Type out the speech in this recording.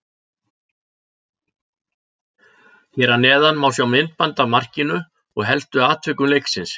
Hér að neðan má sjá myndband af markinu og helstu atvikum leiksins.